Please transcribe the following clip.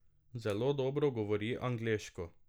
Zelo dobro govori angleško.